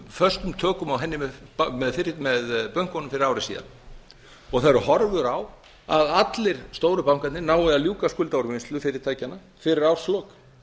föstum tökum á henni með bönkunum fyrir ári síðan og það eru horfur á að allir stóru bankarnir nái að ljúka skuldaúrvinnslu fyrirtækjanna fyrir árslok